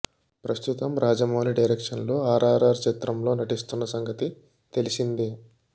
ప్రస్తుతం రాజమౌళి డైరెక్షన్లో ఆర్ఆర్ఆర్ చిత్రం లో నటిస్తున్న సంగతి తెలిసిందే